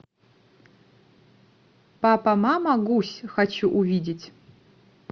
папа мама гусь хочу увидеть